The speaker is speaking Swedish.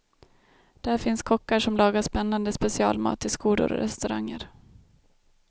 Där finns kockar som lagar spännade specialmat till skolor och restauranger.